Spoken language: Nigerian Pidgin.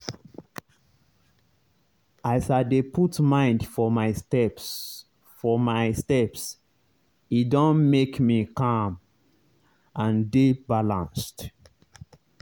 as i dey put mind for my steps for my steps e don make me calm and dey balanced.